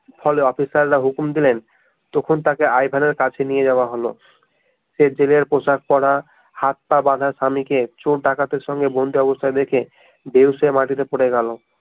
ফলে অফিসাররা হুকুম দিলেন তখন তাকে আই ভেনের কাছে নিয়ে যাওয়া হলো সে জেলের পোশাক পড়া হাত পা বাঁধা স্বামী কে চোর ডাকাতের সঙ্গে বন্দী অবস্থায় দেখে বেহুঁশ হয়ে মাটি তে পরে গেল